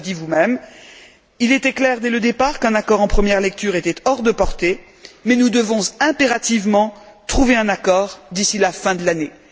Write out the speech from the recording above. Vous l'avez dit vous même, il était clair, dès le départ, qu'un accord en première lecture était hors de portée, mais nous devons impérativement trouver un accord d'ici la fin de l'année.